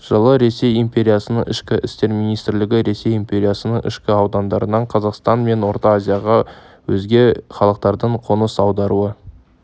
жылы ресей империясының ішкі істер министрлігі ресей империясының ішкі аудандарынан қазақстан мен орта азияға өзге халықтардың қоныс аударуы